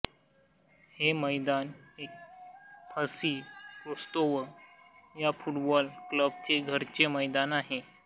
हे मैदान FC Rostov या फुटबॉल क्लबचे घरचे मैदान आहे